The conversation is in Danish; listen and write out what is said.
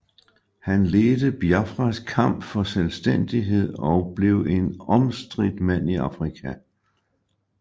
Han ledte Biafras kamp for selvstændighed og blev en omstridt mand i Afrika